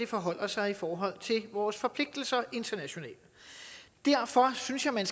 forholder sig i forhold til vores forpligtelser internationalt derfor synes jeg man